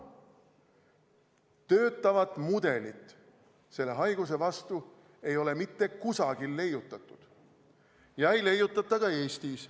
Töötavat mudelit selle haiguse vastu ei ole mitte kusagil leiutatud ja ei leiutata ka Eestis.